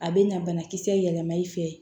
A bɛ na banakisɛ yɛlɛma i fɛ